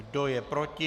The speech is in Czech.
Kdo je proti?